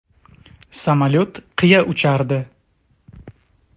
Samolyot qiya uchardi.